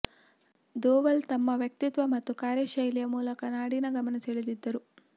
ದೋವಲ್ ತಮ್ಮ ವ್ಯಕ್ತಿತ್ವ ಮತ್ತು ಕಾರ್ಯಶೈಲಿಯ ಮೂಲಕ ನಾಡಿನ ಗಮನ ಸೆಳೆದಿದ್ದರು